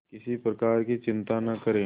किसी प्रकार की चिंता न करें